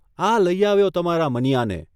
આ લઇ આવ્યો તમારા મનીયાને !